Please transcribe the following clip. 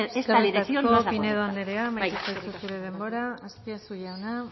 esta decisión no es la correcta eskerrik asko pinedo andrea amaitu zaizu zure denbora azpiazu jauna